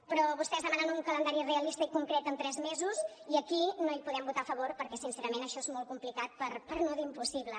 però vostès demanen un calendari realista i concret en tres mesos i aquí no hi podem votar a favor perquè sincerament això és molt complicat per no dir impossible